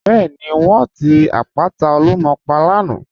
Bẹẹni, wọn ti àpàtà Olúmọ̀ pà lànà.